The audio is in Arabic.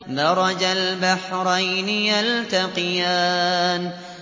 مَرَجَ الْبَحْرَيْنِ يَلْتَقِيَانِ